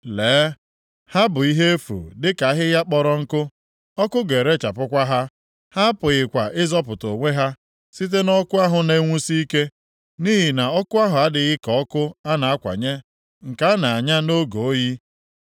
Lee, ha bụ ihe efu dịka ahịhịa kpọrọ nkụ. Ọkụ ga-erechapụkwa ha. Ha apụghịkwa ịzọpụta onwe ha site nʼọkụ ahụ na-enwusi ike. Nʼihi na ọkụ ahụ adịghị ka ọkụ a na-akwanye, nke a na-anya nʼoge oyi.